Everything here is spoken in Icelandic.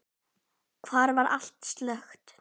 Þar var allt slökkt.